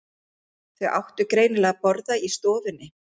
Þau áttu greinilega að borða í stofunni.